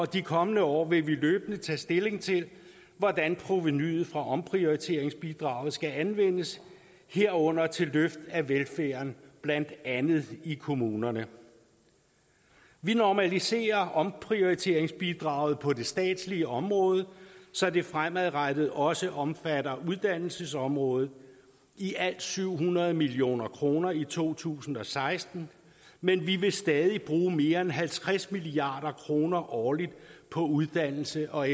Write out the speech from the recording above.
de kommende år vil vi løbende tage stilling til hvordan provenuet fra omprioriteringsbidraget skal anvendes herunder til løft af velfærden blandt andet i kommunerne vi normaliserer omprioriteringsbidraget på det statslige område så det fremadrettet også omfatter uddannelsesområdet i alt syv hundrede million kroner i to tusind og seksten men vi vil stadig bruge mere end halvtreds milliard kroner årligt på uddannelse og